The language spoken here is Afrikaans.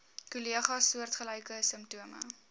kollegas soortgelyke simptome